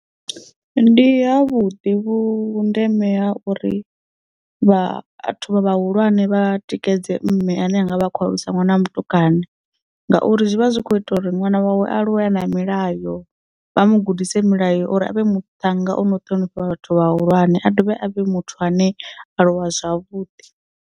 Ndi havhuḓi vhundeme ha uri vhathu vhahulwane vha tikedze mme ane anga vha khou alusa ṅwana wa mutukana ngauri zwivha zwi kho ita uri ṅwana wawe a aluwela a na milayo vha mu gudise milayo uri avhe muthannga ono ṱhonifha vhathu vhahulwane a dovhe a vhe muthu ane a aluwa zwavhuḓi.